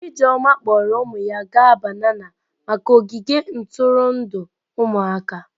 Ijeoma kpọọrọ ụmụ ya gaa banana maka ogige ntụrụndụ ụmụaka.